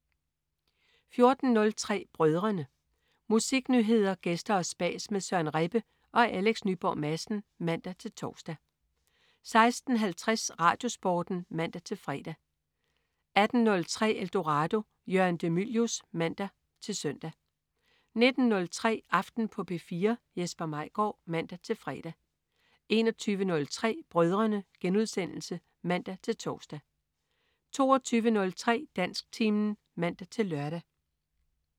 14.03 Brødrene. Musiknyheder, gæster og spas med Søren Rebbe og Alex Nyborg Madsen (man-tors) 16.50 RadioSporten (man-fre) 18.03 Eldorado. Jørgen de Mylius (man-søn) 19.03 Aften på P4. Jesper Maigaard (man-fre) 21.03 Brødrene* (man-tors) 22.03 Dansktimen (man-lør)